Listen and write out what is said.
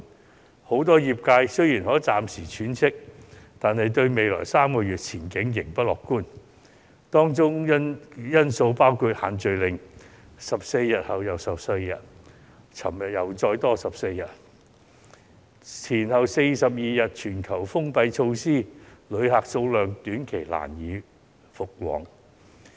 然而，很多食肆雖然可以暫時喘息，但對未來3個月的前景仍不樂觀，因為"限聚令"一再延長14天——昨天便再延14天——前後42天的全球封關措施亦令旅客人數短期難以回升。